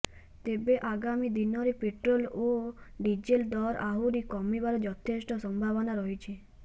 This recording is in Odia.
ତେବେ ଆଗାମୀ ଦିନରେ ପେଟ୍ରୋଲ ଓ ଡିଜେଲ ଦର ଆହୁରି କମିବାର ଯଥେଷ୍ଟ ସମ୍ଭାବନା ରହିଛି